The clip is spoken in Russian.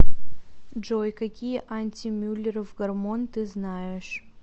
джой какие антимюллеров гормон ты знаешь